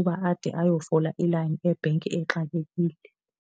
uba ade ayofola ilayini ebhenki exakekile.